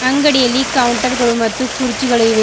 ಅಂಗಡಿಯಲ್ಲಿ ಕೌಂಟರ್ ಗಳು ಮತ್ತು ಕುರ್ಚಿಗಳು ಇವೆ.